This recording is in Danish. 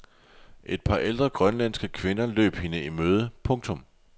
Et par ældre grønlandske kvinder løb hende i møde. punktum